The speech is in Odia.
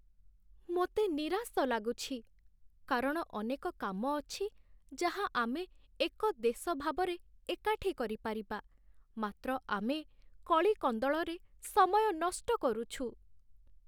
ମୋତେ ନିରାଶ ଲାଗୁଛି, କାରଣ ଅନେକ କାମ ଅଛି, ଯାହା ଆମେ ଏକ ଦେଶ ଭାବରେ ଏକାଠି କରିପାରିବା, ମାତ୍ର ଆମେ କଳି କନ୍ଦଳରେ ସମୟ ନଷ୍ଟ କରୁଛୁ।